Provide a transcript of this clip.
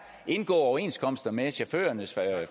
og indgå overenskomster med chaufførernes